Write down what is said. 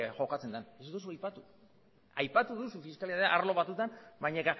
jokatzen den ez duzu aipatu aipatu duzu fiskalidadea arlo batzuetan baina